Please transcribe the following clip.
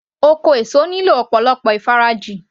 Oko èso nílò ọ̀pọ̀lọpọ̀ ìfarajìn